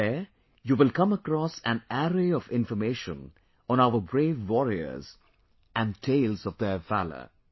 There, you will come across an array of information on our brave warriors and tales of their valour